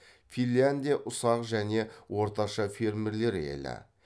финляндия ұсақ және орташа фермерлер елі